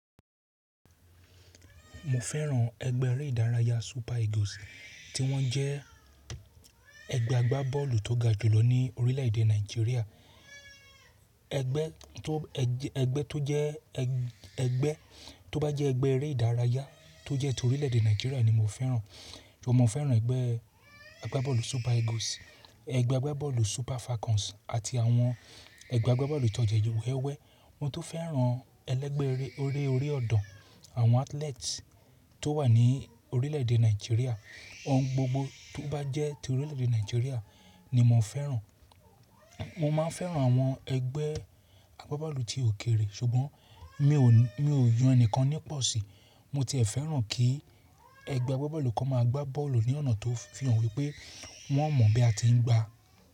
Mo fẹ́ràn ẹgbẹ́ eré ìdárayá Super Eagles tí wọ́n jẹ́ ẹgbẹ́ agbábọ́ọ̀lù tó ga jùlọ ní orílẹ̀èdè Nàìjíríà. Ẹgbẹ́ tó, ẹgbẹ́ tó jẹ́ ẹgbẹ́ tó bá jẹ́ ẹgbẹ́ eré ìdárayá tó jẹ́ ti orílẹ̀èdè Nàìjíríà ni mo fẹ́ràn. Mo máa fẹ́ràn ẹgbẹ́ agbábọ́ọ̀lù Super Eagles, ẹgbẹ́ agbábọ́ọ̀lù Super Falcons àti àwọn ẹgbẹ́ agbábọ́ọ̀lù ìtọ́jẹ wewé. Wọ́n tó fẹ́ràn ẹlẹ́gbẹ́ eré orí ọ̀dàn, àwọn athletes tó wà ní orílẹ̀èdè Nàìjíríà, ohun gbogbo tó bá jẹ́ ti orílẹ̀èdè Nàìjíríà ni mo fẹ́ràn. Mo máa fẹ́ràn àwọn ẹgbẹ́ agbábọ́ọ̀lù ti òkèrè, ṣùgbọ́n mi ò, mi ò yan ẹnìkan nípọ si. Mo ti fẹ́ràn kí ẹgbẹ́ agbábọ́ọ̀lù kan máa gbá bọ́ọ̀lù ní ọ̀nà tó fi hàn wípé wọ́n mọ̀ bí a ti ń gbá.